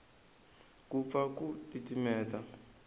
ku pfa ku titimela